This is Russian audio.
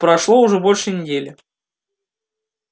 прошло уже больше недели